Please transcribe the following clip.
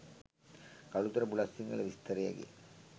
Kalutara Bulathsinhala විස්තරයකි.